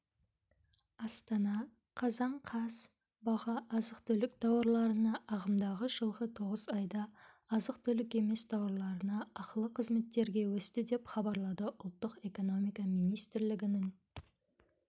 астана қазан қаз баға азық-түлік тауарларына ағымдағы жылғы тоғыз айда азық-түлік емес тауарларына ақылы қызметтерге өсті деп хабарлады ұлттық экономика министрлігінің